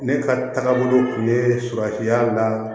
Ne ka taabolo kun ye suranfiya la